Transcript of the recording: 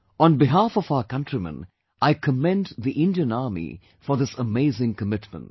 On behalf of our countrymen, I commend the Indian Army for this amazing commitment